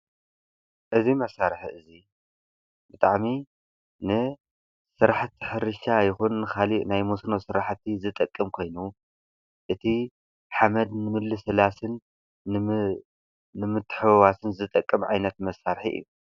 እዚ መሳርሒ እዚ ብጣዕሚ ንስራሕቲ ሕርሻ ይኩን ንካልእ ናይ መስኖ ስራሕቲ ዝጠቅም ኮይኑ እቲ ሓመድ ንምልስላስን ንምትሕዉዋስን ዝጠቅም ዓይነት መሳርሒ እዩ።